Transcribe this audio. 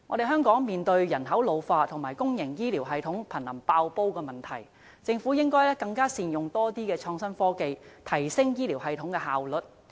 香港面對人口老化及公營醫療系統瀕臨"爆煲"的問題，政府應善用更多創新科技，提升醫療系統的效率。